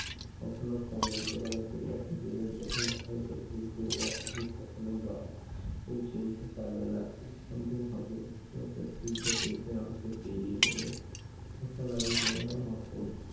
কখনো ফলের দোকানে কিংবা ফুকুলের দোকানের সামনে কখনোই বা ওই চিনতে পারল না। আমাকে খুঁজতে খুঁজতে আমাকে পেরিয়ে গেলো। তখন আমি ভাবলাম মকম